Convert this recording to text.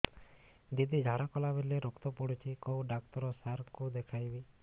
ଦିଦି ଝାଡ଼ା କଲା ବେଳେ ରକ୍ତ ପଡୁଛି କଉଁ ଡକ୍ଟର ସାର କୁ ଦଖାଇବି